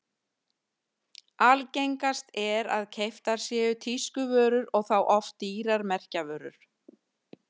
Algengast er að keyptar séu tískuvörur og þá oft dýrar merkjavörur.